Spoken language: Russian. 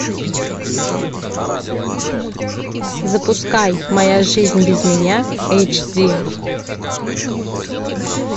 запускай моя жизнь без меня эйч ди